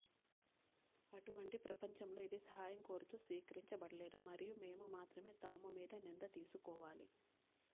అటువంటి ప్రపంచంలో ఇది సహాయం కోరుతూ స్వీకరించబడలేదు మరియు మేము మాత్రమే తాము మీద నింద తీసుకోవాలి